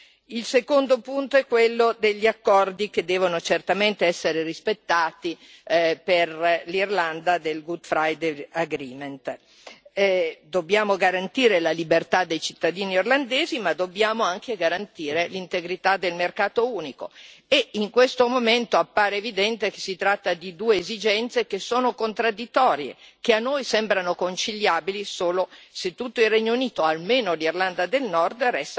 che deve certamente essere rispettato per l'Irlanda dobbiamo garantire la libertà dei cittadini irlandesi ma dobbiamo anche garantire l'integrità del mercato unico e in questo momento appare evidente che si tratta di due esigenze che sono contraddittorie, che a noi sembrano conciliabili solo se tutto il Regno Unito, almeno l'Irlanda del Nord, restano nell'Unione doganale e nel mercato unico.